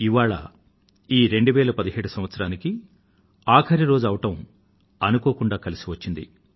ఇవాళ ఈ 2017 సంవత్సరానికి ఆఖరి రోజు అవడం అనుకోకుండా కలిసివచ్చింది